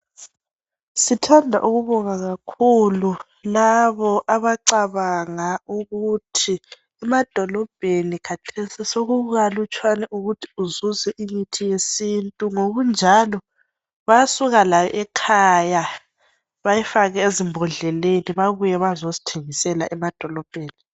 Sithandwa ukubonga kakhulu labo abacabanga ukuthi emadolobheni kathesi sokukalutshwana ukuthi uzuze imithi yesintu ngokunjalo bayasuka layo ekhaya bayifake ezimbhodleleni babuye bazosithengisela emadolobheni